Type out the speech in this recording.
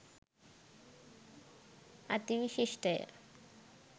අති විශිෂ්ට ය.